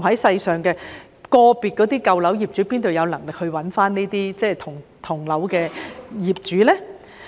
試問個別的舊樓業主哪有能力找到同樓業主？